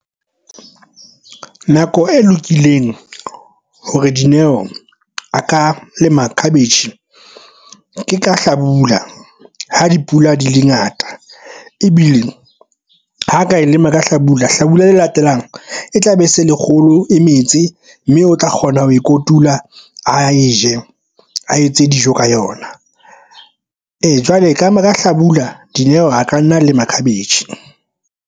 Nako e lokileng hore Dineo a ka lema khabetjhe ke ka hlabula ha dipula di le ngata ebile ho ka lema ka hlabula. Hlabula le latelang e tla be e se le kgolo e metse mme o tla kgona ho e kotula. A e je a etse dijo ka yona. Ee, jwale ka hlabula Dineo a ka nna lema khabetjhe.